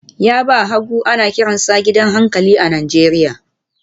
Yaba hagu ana kiransa gidan hankali a Najeriya